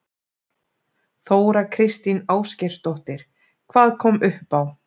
Þóra Kristín Ásgeirsdóttir: Hvað kom upp á?